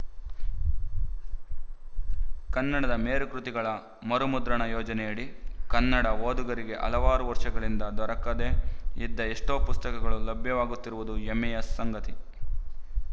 ಕನ್ನಡದ ಮೇರುಕೃತಿಗಳ ಮರುಮುದ್ರಣ ಯೋಜನೆಯಡಿ ಕನ್ನಡ ಓದುಗರಿಗೆ ಹಲವಾರು ವರ್ಷಗಳಿಂದ ದೊರಕದೇ ಇದ್ದ ಎಷ್ಟೋ ಪುಸ್ತಕಗಳು ಲಭ್ಯವಾಗುತ್ತಿರುವುದು ಹೆಮ್ಮೆಯ ಸಂಗತಿ